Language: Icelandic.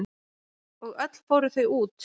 Og öll fóru þau út.